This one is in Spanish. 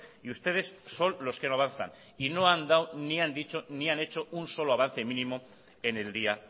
y ustedes son los que no avanzan y no han dado ni han dicho ni han hecho un solo avance mínimo en el día